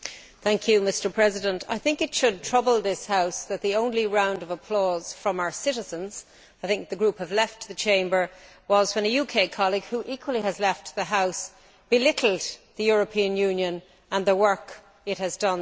Mr President, I think it should trouble this House that the only round of applause from our citizens I think the group have left the Chamber was when a UK colleague, who equally has left the House, belittled the European Union and the work it has done to date.